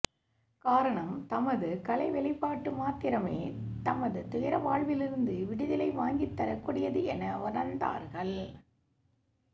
காரணம் தமது கலை வெளிப்பாடு மாத்திரமே தமது துயர வாழ்விலிருந்து விடுதலை வாங்கித் தரக்கூடியது என உணர்ந்தார்கள்